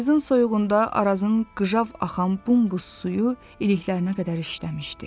Payızın soyuğunda Arazın qıjav axan bumbuz suyu iliklərinə qədər işləmişdi.